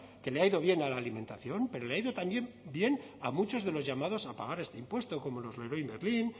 que le ha ido bien a la alimentación pero le ha ido también bien a muchos de los llamados a pagar este impuesto como los leroy merlin